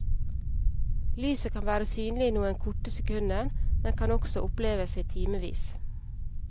Lyset kan være synlig i noen korte sekunder, men kan også oppleves i timevis.